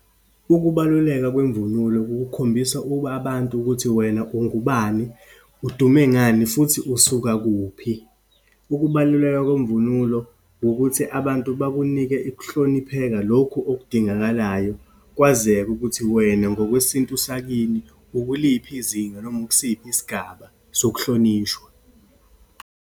Ukubaluleka kwemvunulo kukukhombisa ukuba abantu ukuthi wena ungubani, udume ngani, futhi usuka kuphi. Ukubaluleka kwemvunulo wukuthi abantu bakunike ukuhlonipheka lokhu okudingakalayo, kwazeke ukuthi wena, ngokwesintu sakini, ukuliphi izinga noma ukusiphi isigaba sokuhlonishwa.